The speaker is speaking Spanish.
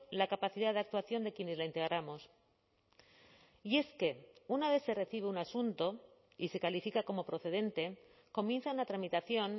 la capacidad de actuación de quienes la integramos y es que una vez se recibe un asunto y se califica como procedente comienza una tramitación